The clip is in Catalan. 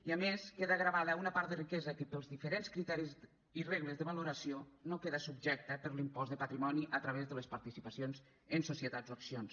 i a més queda gravada una part de riquesa que pels diferents criteris i regles de valoració no queda subjecta per l’impost de patrimoni a través de les participacions en societats o accions